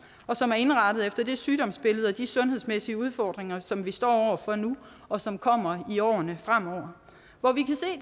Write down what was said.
og som er indrettet efter de sygdomsbilleder og de sundhedsmæssige udfordringer som vi står over for nu og som kommer i årene fremover hvor vi